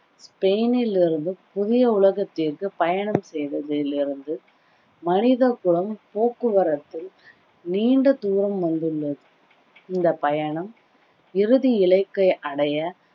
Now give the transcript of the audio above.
ஸ்பெய்னில் இருந்து புதிய உலகத்திற்கு பயணம் செய்ததிலிருந்து மனித குலம் போக்குவரத்தில் நீண்ட தூரம் வந்துள்ளது இந்த பயணம் இறுதி இலக்கை அடைய